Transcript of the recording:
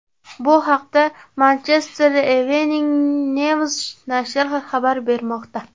Bu haqda Manchester Evening News nashri xabar bermoqda.